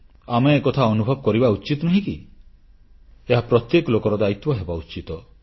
ଆମେ ଏକଥା ଅନୁଭବ କରିବା ଉଚିତ ନୁହେଁ କି ଏହା ପ୍ରତ୍ୟେକ ଲୋକର ଦାୟିତ୍ୱ ହେବା ଉଚିତ